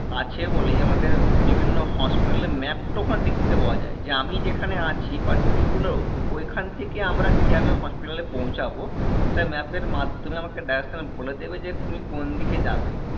আছে বলেই আমাদের বিভিন্ন hospital এর map ওখানে দেখতে পাওয়া যায় যে আমি যেখানে আছি particular ও ওইখান থেকে আমরা কিভাবে hospital এ পৌছাবো সেটা map এর মাধ্যামে আমাকে direction বলে দেবে যে তুমি কোনদিকে যাবে